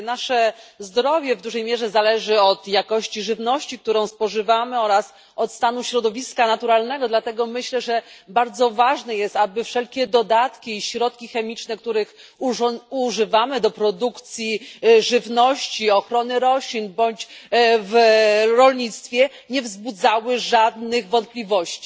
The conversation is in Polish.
Nasze zdrowie w dużej mierze zależy od jakości żywności, którą spożywamy, oraz od stanu środowiska naturalnego, dlatego myślę, że bardzo ważne jest, aby wszelkie dodatki i środki chemiczne, których używamy do produkcji żywności, ochrony roślin bądź w rolnictwie, nie wzbudzały żadnych wątpliwości.